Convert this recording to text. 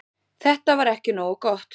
Þetta var ekki nógu gott.